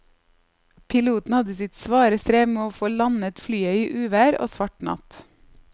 Piloten hadde sitt svare strev med å få landet flyet i uvær og svart natt.